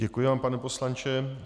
Děkuji vám, pane poslanče.